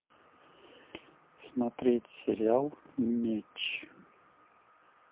смотреть сериал меч